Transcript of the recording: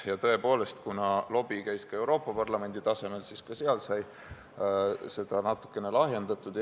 Ja tõepoolest, kuna lobi käis ka Euroopa Parlamendi tasemel, siis ka seal sai seda natukene lahjendatud.